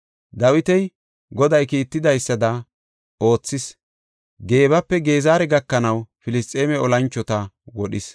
Dawiti Goday kiittidaysada oothis; Geebape Gezera gakanaw Filisxeeme olanchota wodhis.